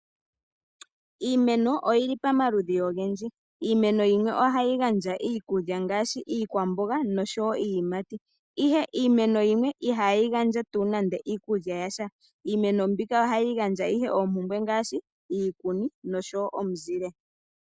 Iimeno oyili pamaludhi ogendji. Iimeno yimwe oyili hayi gandja iikulya iikwamboga nosho woo iiyimati, ihe iimeno yimwe ihayi gandja tuu nande iikulya yasha. Iimeno yimwe ohayi gandja owala iikuni nosho woo omizile.